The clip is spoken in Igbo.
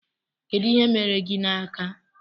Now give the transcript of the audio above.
Kedụ ihe mere gị n'aka?